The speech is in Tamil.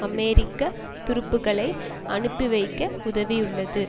அமெரிக்க துருப்புக்களை அனுப்பிவைக்க உதவியுள்ளது